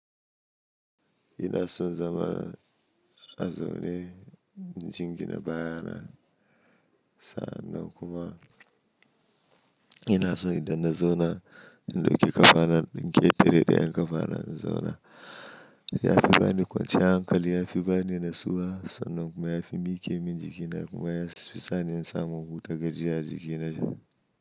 Ina son zama a zaune in jingina baya na, sa'annan kuma ina son idan na zauna indauki kafana in ɗanketare ɗayan kafa na in zauna yafi bani kwanciyar hankali yafi bani natsuwa sannan kuma yafi mike min jikina kuma yafi sani in samu huta gajiya a jikina.